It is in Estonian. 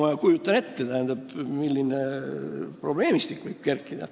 Ma kujutan ette, milline probleemistik võib kerkida.